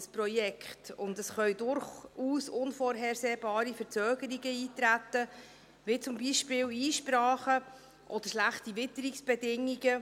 Es können durchaus unvorhersehbare Verzögerungen eintreten, wie zum Beispiel Einsprachen oder schlechte Witterungsbedingungen.